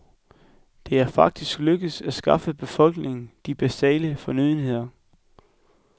Det er faktisk lykkedes at skaffe befolkningen de basale fornødenheder.